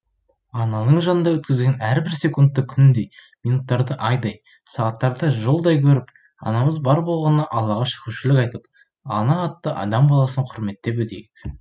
ананың жанында өткізген әрбір секундты күндей минуттарды айдай сағаттарды жылдай көріп анамыз бар болғанына аллаға шүкіршілік айтып ана атты адам баласын құрметтеп өтейік